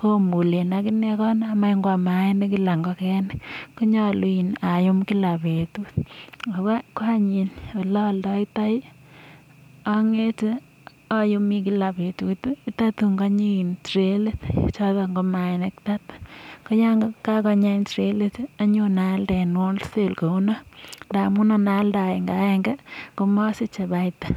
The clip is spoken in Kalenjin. komulen ak inee konam any koam maanik kila ngokenik. Konyolu ayum kila betut. Ago any iin ole oldoitoi ong'ete ayumi kila betut tatun konyi trayit choton ka maainik thati. KO yon kagonyi any trayit anyon aalde en wholesale kounon ndamun ana alde agenge agenge komosiche faida